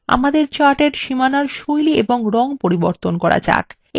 আমাদের চার্ট এর সীমানার style এবং রং পরিবর্তন করা যাক